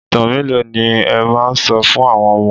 Ìtàn mélòó ni ẹ máa sọ fún àwọn ọmọ?